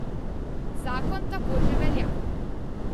Zakon tako že velja.